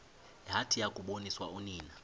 yathi yakuboniswa unina